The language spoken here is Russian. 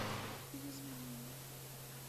перезвони мне